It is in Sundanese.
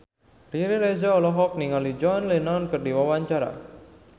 Riri Reza olohok ningali John Lennon keur diwawancara